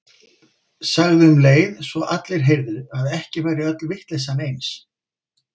Sagði um leið svo að allir heyrðu að ekki væri öll vitleysan eins.